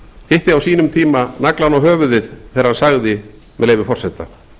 hitti á sínum tíma naglann á höfuðið þegar hann sagði með leyfi forseta